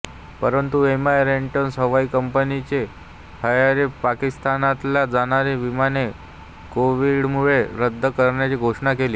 परंतु एमायरेट्स हवाई कंपनीने हरारेपाकिस्तानला जाणारी विमाने कोविडमुळे रद्द करण्याची घोषणा केली